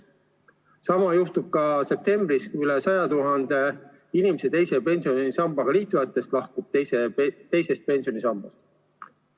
Sama juhtub ka septembris, kui üle 100 000 inimese teise pensionisambaga liitunutest lahkub teisest pensionisambast.